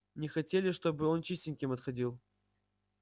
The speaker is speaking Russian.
не хотели чтобы он чистеньким отходил